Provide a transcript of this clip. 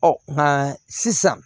Ɔ nka sisan